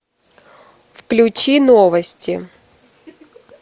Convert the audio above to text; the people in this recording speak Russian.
включи новости